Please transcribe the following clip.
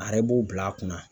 A yɛrɛ b'o bila a kunna.